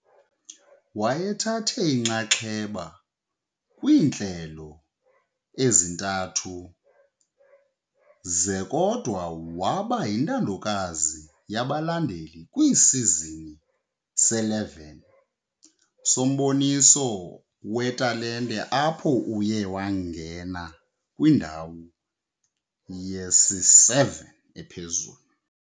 Wayethathe inxaxheba kwiintlelo ezintathu ze- " kodwa waba yintandokazi yabalandeli kwiSizini se-11 somboniso wetalente apho uye wangena kwindawo yesi-7 ephezulu.